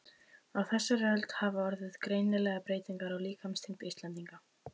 Á þessari öld hafa orðið greinilegar breytingar á líkamsþyngd Íslendinga.